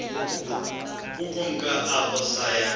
ukumka apho saya